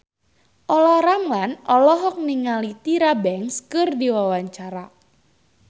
Olla Ramlan olohok ningali Tyra Banks keur diwawancara